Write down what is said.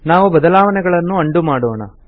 ನಾವು ಬದಲಾವಣೆಗಳನ್ನು ಅಂಡು ಮಾಡೋಣ